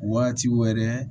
Waati wɛrɛ